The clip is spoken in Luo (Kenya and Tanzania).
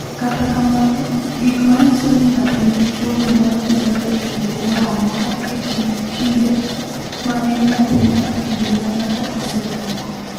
"Kata kamano, gik ma nyiso ni ng’ato nigi tuwono nyalo nenore e kinde moro amora e kind kinde ma en nyathi nyaka kinde ma ng’ato osedongo."